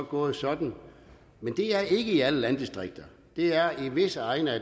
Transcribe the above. gået sådan men det er ikke sket i alle landdistrikter det er i visse egne af